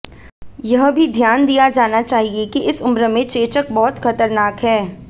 यह भी ध्यान दिया जाना चाहिए कि इस उम्र में चेचक बहुत खतरनाक है